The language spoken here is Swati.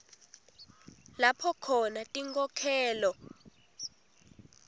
lapho khona tinkhokhelo